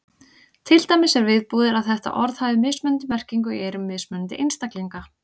Til dæmis er viðbúið að þetta orð hafi mismunandi merkingu í eyrum mismunandi einstaklinga.